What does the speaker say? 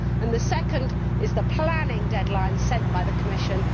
The second is the planning deadline set by the Commission.